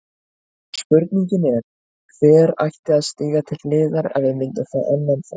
Spurningin er, hver ætti að stíga til hliðar ef við myndum fá annan framherja?